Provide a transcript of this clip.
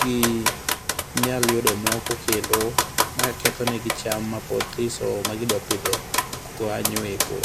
ginyal yudo moko kendo mawang ketho negi cham mapod thiso magidwa pidho kanyo eko